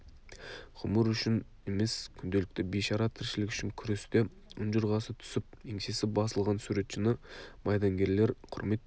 ғұмыр үшін емес күнделікті бейшара тіршілік үшін күресте ұнжырғасы түсіп еңсесі басылған суретшіні майдангерлер құрметтей